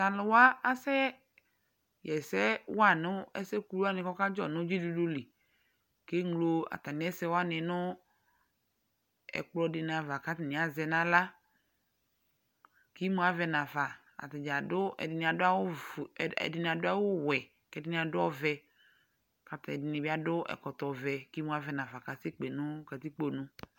T'alʋwa asɛ ɣɛsɛ wa nʋ ɛsɛ kuluwanɩ k'ɔkadzɔ nʋ dzidudu li; k'eŋlo atamɩ ɛsɛwanɩ nʋ ɛkplɔdɩnɩ ava k'atanɩ azɛ n'aɣla K'imuavɛ nafa : atanɩ adʋ ɛdɩnɩ adʋ awʋfue ɛ ɛdɩnɩ adʋ awʋwɛ, k'ɛdɩnɩ adʋ ɔvɛ lak'ɛdɩnɩ bɩ akɔ ɛkɔtɔvɛ , k'imuavɛ nafa k'asɛ kpe nʋ katikpo nu